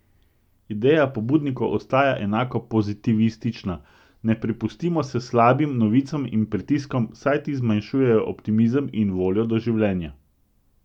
Ideja pobudnikov ostaja enako pozitivistična: "Ne prepustimo se slabim novicam in pritiskom, saj ti zmanjšujejo optimizem in voljo do življenja.